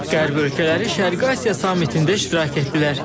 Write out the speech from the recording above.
Qərb ölkələri Şərqi Asiya sammitində iştirak etdilər.